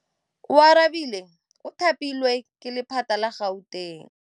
Oarabile o thapilwe ke lephata la Gauteng.